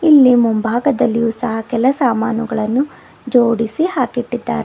ಇಲ್ಲಿ ಮುಂಭಾಗದಲ್ಲಿ ಕೆಲ ಸಾಮಾನುಗಳನ್ನು ಜೋಡಿಸಿ ಹಾಕಿಟ್ಟಿದ್ದಾರೆ.